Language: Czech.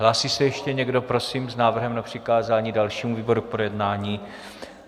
Hlásí se ještě někdo prosím s návrhem na přikázání dalšímu výboru k projednání?